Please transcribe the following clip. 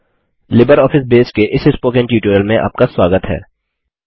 LibreOffice Base के इस spoken tutorial में आपका स्वागत है